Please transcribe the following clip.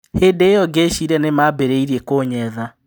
Hĩndĩ ĩyo ngĩciria nĩ mambĩrĩria kũnyetha."